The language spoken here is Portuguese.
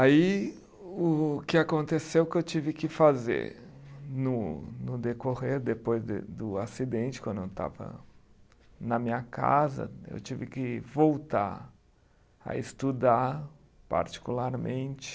Aí, o que aconteceu, o que eu tive que fazer no no decorrer, depois do do acidente, quando eu estava na minha casa, eu tive que voltar a estudar particularmente.